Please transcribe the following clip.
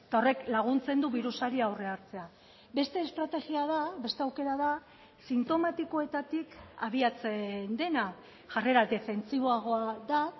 horrek laguntzen du birusari aurrea hartzea beste estrategia da beste aukera da sintomatikoetatik abiatzen dena jarrera defentsiboagoa da